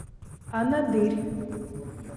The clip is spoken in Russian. анадырь